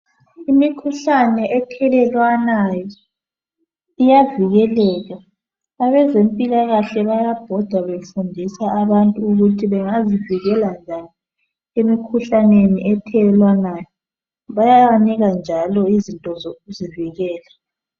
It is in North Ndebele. Imikhuhlane ethelelwanayo iyavikeleka abezempilakahle bayabhoda befundisa abantu ukuthi bengazivikela njani emkhuhlaneni ethelelwanayo bayabanika njalo izinto zokuzivikela.